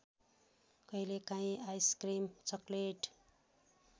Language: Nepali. कहिलेकाहीँ आइसक्रिम चकलेट